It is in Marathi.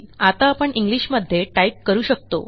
आता आपण इंग्लिश मध्ये टाईप करू शकतो